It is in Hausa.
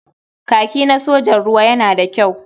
Kaki na sojan ruwa yana da kyau.